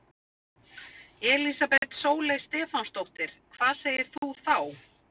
Elísabet Sóley Stefánsdóttir: Hvað segir þú þá?